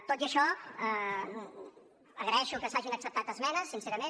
tot i això agraeixo que s’hagin acceptat esmenes sincerament